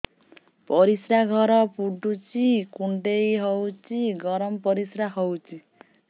ପରିସ୍ରା ଘର ପୁଡୁଚି କୁଣ୍ଡେଇ ହଉଚି ଗରମ ପରିସ୍ରା ହଉଚି